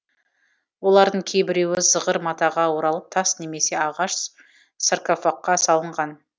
олардың кейбіреуі зығыр матаға оралып тас немесе ағаш саркофагқа салынған